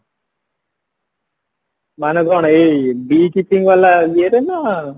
ମାନେ କଣ ଏଇ ବି ବାଲା ଇଏରେ ନାଁ